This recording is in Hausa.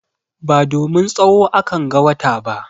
Ba domin tsawo akan ga wata ba.